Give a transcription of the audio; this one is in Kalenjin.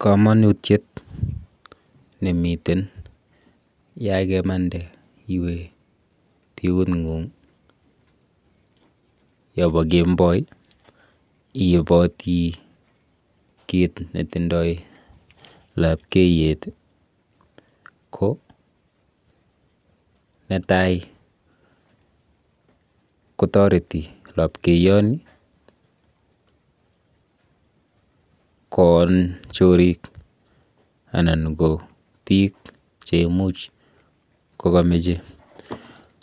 Kamanutyet nemiten yakemande iwe biung'ung yopo kenboi iipoti kit netindoi lapkeyet` ko netai kotoreti lapkeyoni koon chorik anan ko biik cheimuch kokameche